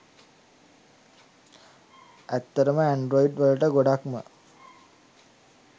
ඇත්තටම ඇන්ඩ්‍රොයිඩ් වලට ගොඩක්ම